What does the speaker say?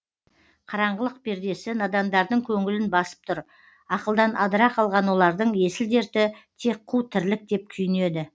қараңғылық пердесі надандардың көңілін басып тұр ақылдан адыра қалған олардың есіл дерті тек қу тірлік деп күйінеді